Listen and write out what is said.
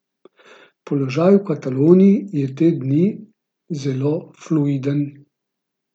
Položaj v Kataloniji je te dni zelo fluiden.